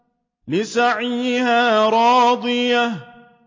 لِّسَعْيِهَا رَاضِيَةٌ